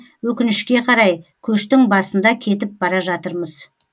өкінішке қарай көштің басында кетіп бара жатырмыз